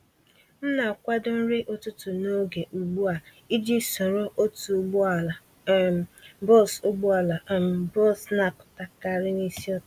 M na-akwado nri ụtụtụ n'oge ugbu a iji soro otu ụgbọala um bọs ụgbọala um bọs napụta karị n'isi ụtụtụ